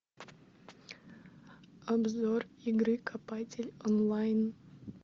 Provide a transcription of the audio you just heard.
обзор игры копатель онлайн